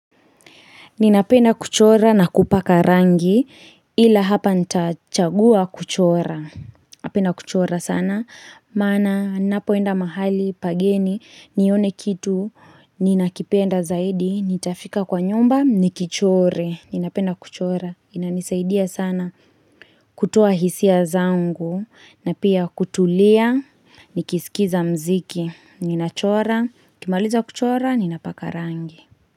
Ninapenda kuchora na kupaka rangi ila hapa ntachagua kuchora. Napenda kuchora sana. Maana napoenda mahali pageni nione kitu ninakipenda zaidi nitafika kwa nyumba nikichore. Ninapenda kuchora inanisaidia sana kutoa hisia zangu na pia kutulia nikisikiza mziki. Ninachora nikimaliza kuchora ninapaka rangi.